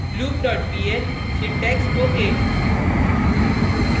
loop dot pl syntax ok